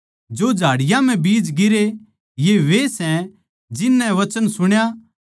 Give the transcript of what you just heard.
जो झाड़ियाँ म्ह बीज गिरे ये वे सै जिन नै वचन सुण्या